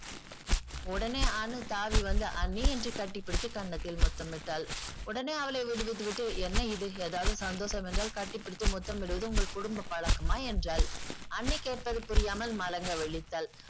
உடனே அனு தாவி வந்து அண்ணி என்று கட்டப்பிடித்து கன்னத்தில் முத்தமிட்டாள். உடனே அவளை விடுவித்து விட்டு என்ன இது ஏதாவது சந்தோஷம் என்றால் கட்டிப்பிடித்து முத்தம் இடுவது உங்கள் குடும்ப பழக்கமா என்றாள். அண்ணி கேட்பது புரியாமல் மலங்க விழித்தாள்.